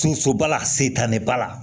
Sosoba la setaniba la